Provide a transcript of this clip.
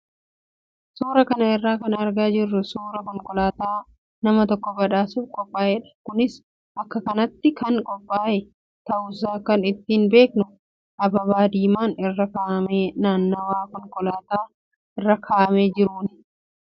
Suuraa kana irraa kan argaa jirru suuraa konkolaataa nama tokko badhaasuuf qophaa'edha. Kunis akka kennaatti kan qophaaye ta'uusaa kan ittiin beeknu ababaa diimaan irra kaa'amee naannawaa konkolaataa irra kaa'amee jiruuni.